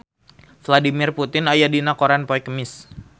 Vladimir Putin aya dina koran poe Kemis